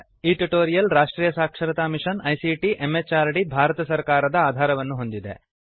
ಈ ಟ್ಯುಟೋರಿಯಲ್ ರಾಷ್ಟ್ರೀಯ ಸಾಕ್ಷರತಾ ಮಿಶನ್ ಐಸಿಟಿ ಎಂಎಚಆರ್ಡಿ ಭಾರತ ಸರ್ಕಾರದ ಆಧಾರವನ್ನು ಹೊಂದಿದೆ